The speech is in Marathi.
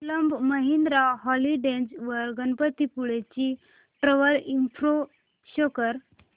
क्लब महिंद्रा हॉलिडेज वर गणपतीपुळे ची ट्रॅवल इन्फो शो कर